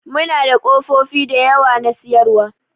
Muna da ƙofofi da yawa na siyarwa.